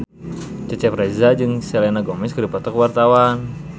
Cecep Reza jeung Selena Gomez keur dipoto ku wartawan